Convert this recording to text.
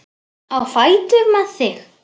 Á fætur með þig!